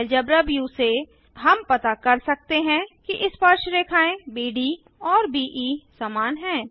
algebra view से हम पता कर सकते हैं कि स्पर्शरेखाएँ बीड और बीई समान हैं